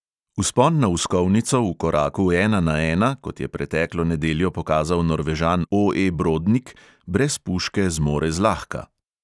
Vzpon na "uskovnico" v koraku "ena na ena", kot je preteklo nedeljo pokazal norvežan O E brodnik, brez puške zmore zlahka.